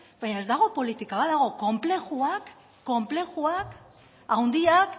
baina ez dago politika badago konplexuak konplexuak handiak